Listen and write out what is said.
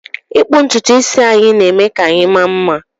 ịkpụ ntutu isi anyị na eme ka anyị maa mma